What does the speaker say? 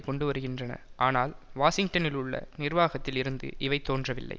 கொண்டுவருகின்றன ஆனால் வாஷிங்டனிலுள்ள நிர்வாகத்தில் இருந்து இவை தோன்றவில்லை